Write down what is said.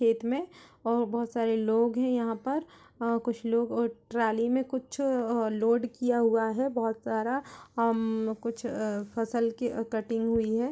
खेत में और बहुत सारे लोग हैं यहां पर और कुछ लोग अ ट्रौली में कुछ लोड किया हुआ है बहुत सारा उम कुछ फसल की कटिंग हुयी है।